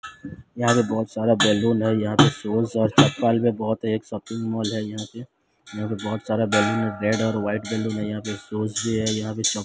यहां पे बहोत सारा बलून है यहां पे शूज और चप्पल भी बहोत है एक शॉपिंग मॉल है यहां पे यहां पे बहोत सारा बलून है रेड और वाइट बैलून यहां पे शूज भी है यहां पे चप --